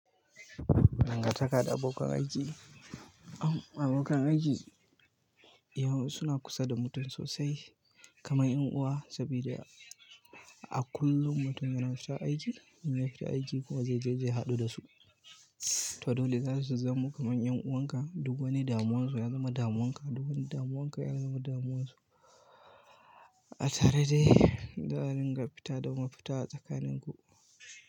Dangan takada abokan aiki. Abokan aiki yau suna kusa da mutum sosai kamar 'yan uwa, saboda a kullum mutum yana sha aiki, in yafi ta aiki kuma zai je zai haɗu da su. To dole za su zamo kamar 'yan uwan ka, duk wani damuwarsu ya zama damuwarka, duk wani damuwarka ya zama damuwarsu. Atare dai, da ringa fita domin fita tsakanin ku.